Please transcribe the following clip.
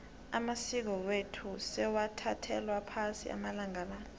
amasiko wethu sewathathelwa phasi amalanga la